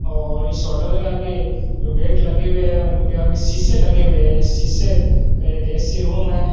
और इस होटल के आगे जो गेट लगे हुए हैं उनके आगे शीशे लगे हुए हैं शीशे का एक ए_सी रूम है।